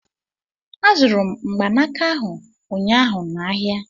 Azụrụ m mgbanaka ahụ ụnyaahụ n'ahịa